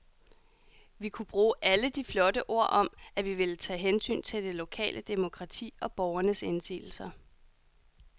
Vi kunne bruge alle de flotte ord om, at vi ville tage hensyn til det lokale demokrati og borgernes indsigelser.